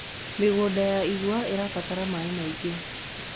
mĩgũnda ya igwa irabatara maĩ maĩngi